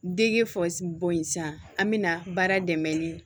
Dege bonyan an bɛna baara dɛmɛ ni